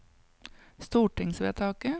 stortingsvedtaket